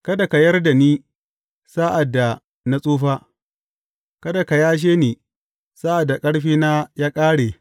Kada ka yar da ni sa’ad da na tsufa; kada ka yashe ni sa’ad da ƙarfina ya ƙare.